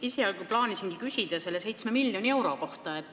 Esialgu plaanisingi küsida selle 7 miljoni euro kohta.